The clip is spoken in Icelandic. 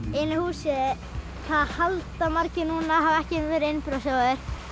einu húsi það halda margir núna hafi ekki verið innbrotsþjófur